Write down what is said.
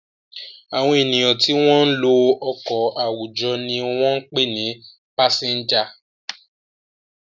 Àwọn ènìyàn tí wọ́n ń lo ọkọ̀ àwùjọ ni wọ́n ń pè ní pásẹ́ńjà.